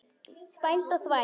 Spæld og þvæld.